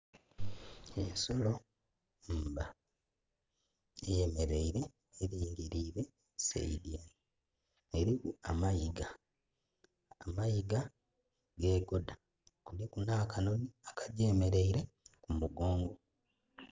Ensolo mba eyemeleire, elingilire saidi ere. Eliku amayiga. Amayiga gegodha kuliku nha ka nhonhi aka gyemeleire ku mugongo.